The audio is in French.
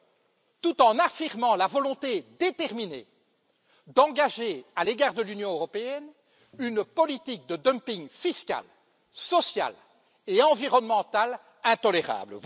Cela tout en affirmant la volonté déterminée d'engager à l'égard de l'Union européenne une politique de dumping fiscal, social et environnemental intolérable.